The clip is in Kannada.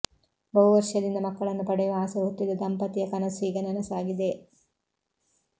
ಬಹುವರ್ಷದಿಂದ ಮಕ್ಕಳನ್ನು ಪಡೆಯುವ ಆಸೆ ಹೊತ್ತಿದ್ದ ದಂಪತಿಯ ಕನಸು ಈಗ ನನಸಾಗಿದೆ